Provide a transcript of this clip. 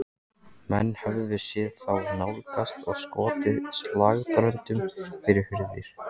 Menn höfðu séð þá nálgast og skotið slagbröndum fyrir hurðir.